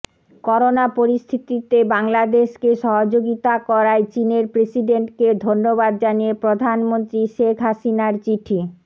corona পরিস্থিতিতে বাংলাদেশকে সহযোগিতা করায় চীনের প্রেসিডেন্টকে ধন্যবাদ জানিয়ে প্রধানমন্ত্রী শেখ হাসিনার চিঠি